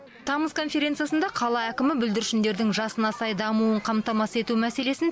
тамыз конференциясында қала әкімі бүлдіршіндердің жасына сай дамуын қамтамасыз ету мәселесін